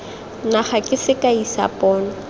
naga ke sekai sa pono